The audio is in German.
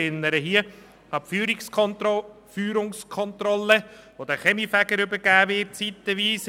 Ich erinnere an die Führungskontrolle, die zeitweise den Kaminfegern übergeben wird;